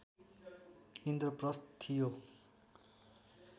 इन्द्रप्रस्थ थियो